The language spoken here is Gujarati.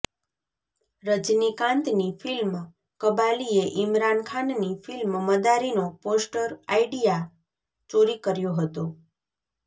રજનીકાંતની ફિલ્મ કબાલીએ ઈમરાન ખાનની ફિલ્મ મદારીનો પોસ્ટર આઈડિયા ચોરી કર્યો હતો